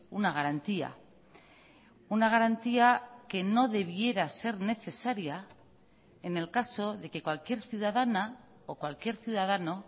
una garantía una garantía que no debiera ser necesaria en el caso de que cualquier ciudadana o cualquier ciudadano